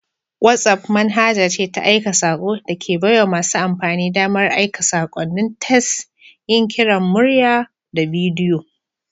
WhatsApp manhaja ce ta aika sako da ke baiwa masu amfani damar aika sakonnin tes, yin kiran murya da bidiyo.